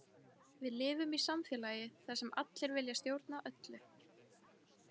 Við lifum í samfélagi þar sem allir vilja stjórna öllu.